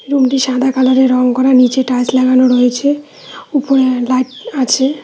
রুমটি সাদা কালারে রং করা নীচে টাইলস লাগানো রয়েছে উপরে লাইট আছে।